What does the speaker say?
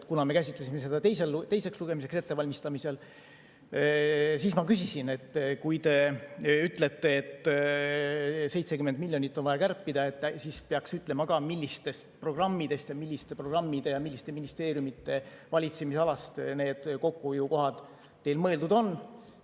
Kui me käsitlesime seda teiseks lugemiseks ettevalmistamisel, siis ma küsisin, et kui te ütlete, et 70 miljonit on vaja kärpida, siis peaks ütlema ka, milliste programmide ja milliste ministeeriumide valitsemisalast need kokkuhoiukohad teil mõeldud on.